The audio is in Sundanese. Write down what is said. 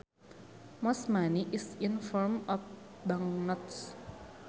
Most money is in form of banknotes